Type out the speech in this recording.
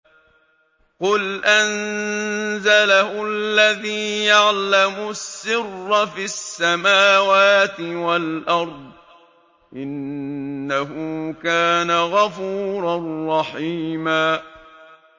قُلْ أَنزَلَهُ الَّذِي يَعْلَمُ السِّرَّ فِي السَّمَاوَاتِ وَالْأَرْضِ ۚ إِنَّهُ كَانَ غَفُورًا رَّحِيمًا